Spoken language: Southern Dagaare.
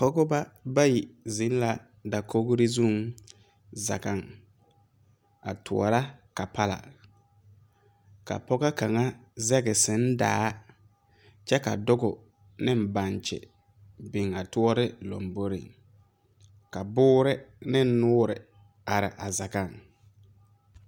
Pɔgeba bayi zeŋ la dakogri zuŋ zage a tɔɔra kapala ka Pɔgebo kaŋa zagi seŋdaa kyɛ ka doge ne bankyi biŋ a tɔɔre lanbore ka buure ne nooɔre are a zage.